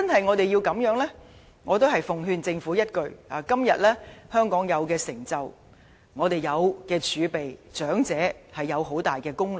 我奉勸政府一句：今天香港享有的成就，我們擁有的儲備，長者有很大功勞。